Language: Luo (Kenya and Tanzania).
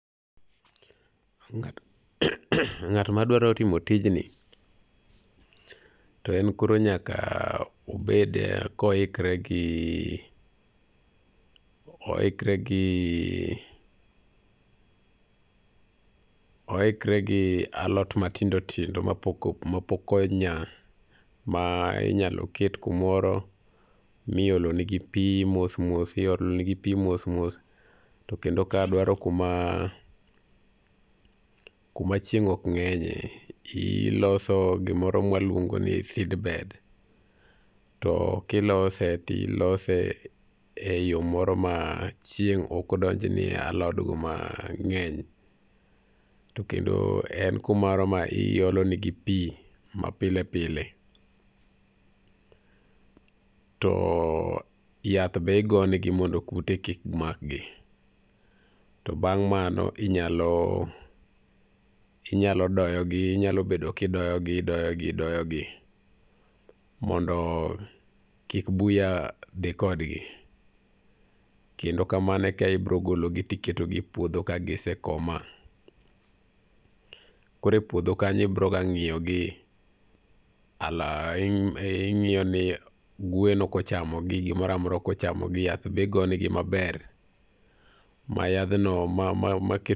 Ng'at madwaro timo tijni to en koro nyaka obed koikre gi oikre gi oikre gi alot matindo tindo mapok onya ma inyalo ket kumoro miolonigi pi mos mos iolo negi pi mos mos to kendo kae dwaro kuma kuma chieng' ok ng'enyie iloso gimoro ma waluongo ni seedbed to kilose to ilose eyo moro ma chieng' ok odonj ni e alodgo mang'eny to kendo en kumoro ma iolonegi pi ma pile pile to yath be igo negi mondo kute kik makgi. To bang' mano to inyalo inyalo doyo gi inyalo bedo kidoyo i idoyo gi idoyo gi mondo kik buya dhi kodgi kendo kamano eka ibiro gologi to iketogi e puodho ka gise koma. Koro e podho kanyo ibiroa ng'iyogi ing'iyo ni gwen ok ochamogi gimoro amora ok ochamo gi yath bende igo negi maber, ma yadhno maket